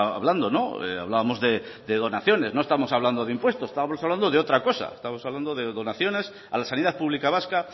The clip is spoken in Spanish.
hablando hablábamos de donaciones no estamos hablando de un puesto no estábamos de otra cosa estábamos hablando de donaciones a la sanidad pública vasca